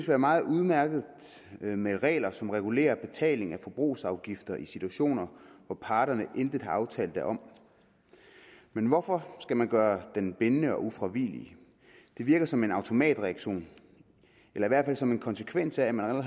være meget udmærket med regler som regulerer betaling af forbrugsafgifter i situationer hvor parterne intet har aftalt derom men hvorfor skal man gøre dem bindende og ufravigelige det virker som en automatreaktion eller i hvert fald som en konsekvens af at man